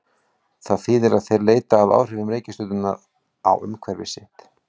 Það þýðir að þeir leita að áhrifum reikistjörnunnar á umhverfi sitt.